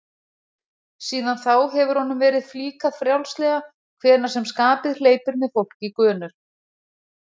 Síðan þá hefur honum verið flíkað frjálslega hvenær sem skapið hleypur með fólk í gönur.